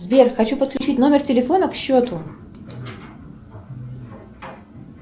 сбер хочу подключить номер телефона к счету